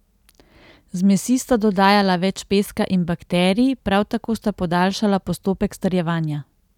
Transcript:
Zmesi sta dodajala več peska in bakterij, prav tako sta podaljšala postopek strjevanja.